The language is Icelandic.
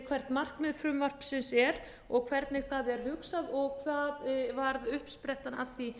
hvert markmið frumvarpsins er og hvernig það er hugsað og það varð uppsprettan að því